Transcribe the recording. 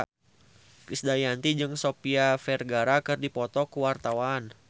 Krisdayanti jeung Sofia Vergara keur dipoto ku wartawan